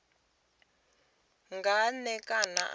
nga n e kana ra